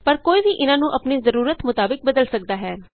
ਪਰ ਕੋਈ ਵੀ ਇਹਨਾਂ ਨੂੰ ਅਪਣੀ ਜ਼ਰੂਰਤ ਮੁਤਾਬਿਕ ਬਦਲ ਸਕਦਾ ਹੈ